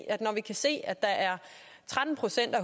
at når vi kan se at der er tretten procent af